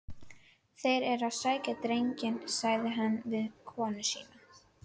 Þeir eru að sækja drenginn, sagði hann við konu sína.